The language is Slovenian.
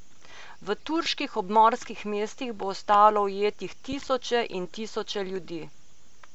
V turških obmorskih mestih bo ostalo ujetih tisoče in tisoče ljudi.